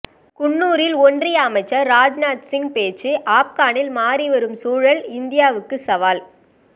குன்னூரில் ஒன்றிய அமைச்சர் ராஜ்நாத் சிங் பேச்சு ஆப்கனில் மாறி வரும் சூழல் இந்தியாவுக்கு சவால்